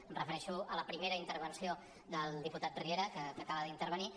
em refereixo a la primera intervenció del diputat riera que acaba d’intervenir